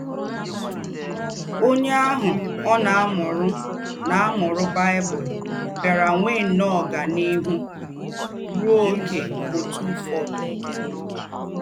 Ònyè àhù ọ̀ nà-àmùrù nà-àmùrù Bible bíárá nwéé nnọ́ọ́ ọ́ganíhù ruò ógé ọ̀túfọ̀dụ́.